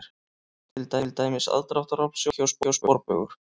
Til dæmis: aðdráttarafl, sjónauki og sporbaugur.